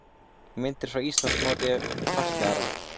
Myndir frá Íslandsmóti fatlaðra